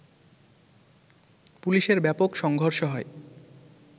পুলিশের ব্যাপক সংঘর্ষ হয়